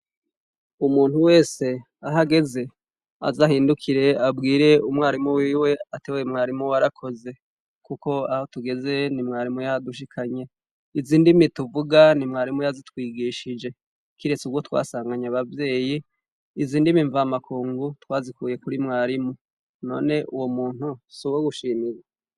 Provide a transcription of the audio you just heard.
umuntu wese ahageze, azahindukire abwire umwarimu wiwe uti mwarimu warakoze kuko aho tugeze ni mwarimu yahadushikanye. Izi ndimi tuvuga ni mwarimu yazitwigishije surwo twasanganye abavyeyi, izi ndimi mvamakungu twazikuye kuri mwarimu, noe uwo muntu suwo gushimira?